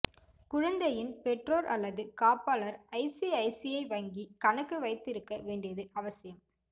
குழந்தையின் பெற்றோர் அல்லது காப்பாளர் I C I C I வங்கிக் கணக்கு வைத்திருக்க வேண்டியது அவசியம்